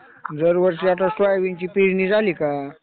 दरवर्षी आता सोयाबीनची पेरणी झाली का,